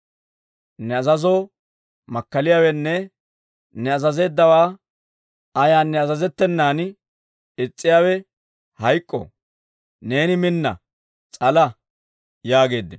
Ne azazoo makkaliyaawenne ne azazeeddawaa ayaanne azazettenan is's'iyaawe hayk'k'o. Neeni minna; s'ala!» yaageeddino.